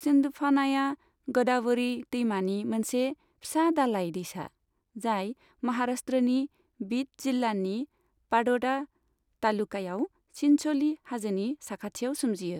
सिन्धफानाया ग'दावभ'रि दैमानि मोनसे फिसा दालाइ दैसा, जाय महाराष्ट्रनि बिड जिल्लानि पाट'डा तालुकायाव चिनच'ली हाजोनि साखाथियाव सोमजियो।